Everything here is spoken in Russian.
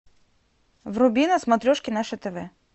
вруби на смотрешке наше тв